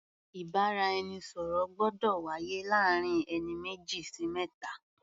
Ìbáraẹnisọ̀rọ̀ gbọ́dọ̀ wáyé láàrin ẹni méjì sí mẹ́ta.